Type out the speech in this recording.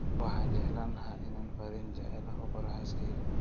Waxaan jeclaan lahaa inaan fariin jaceyl ah u qoro xaaskeyga